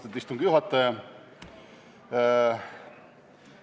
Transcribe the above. Austatud istungi juhataja!